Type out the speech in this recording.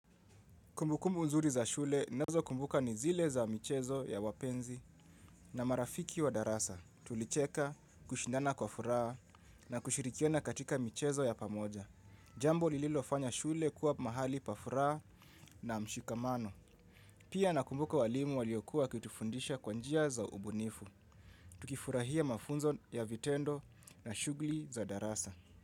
Kumbukumbu nzuri za shule ninazokumbuka ni zile za michezo ya wapenzi na marafiki wa darasa. Tulicheka, kushindana kwa furaha na kushirikiana katika michezo ya pamoja. Jambo lililofanya shule kuwa mahali pa furaha na mshikamano. Pia nakumbuka walimu waliokuwa wakitufundisha kwa njia za ubunifu. Tukifurahia mafunzo ya vitendo na shugli za darasa.